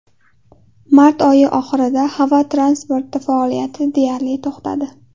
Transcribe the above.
Mart oyi oxirida havo transporti faoliyati deyarli to‘xtadi.